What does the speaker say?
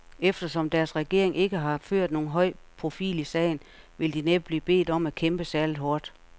Eftersom deres regering ikke har ført nogen høj profil i sagen, vil de næppe blive bedt om at kæmpe særligt hårdt.